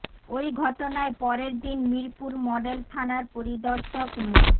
ওই ঘটনায় পরের দিন মিরপুর মডেল থানার পরিদর্শক মো